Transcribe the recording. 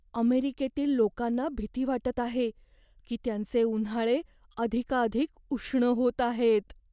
अमेरिकेतील लोकांना भीती वाटत आहे की त्यांचे उन्हाळे अधिकाधिक उष्ण होत आहेत.